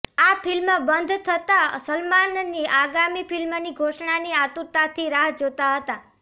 આ ફિલ્મ બંધ થતા સલમાનની આગામી ફિલ્મની ઘોષણાની આતુરતાથી રાહ જોતા હતા